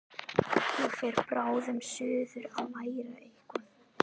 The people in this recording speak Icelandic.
Ég fer bráðum suður að læra eitthvað.